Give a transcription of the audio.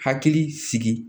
Hakili sigi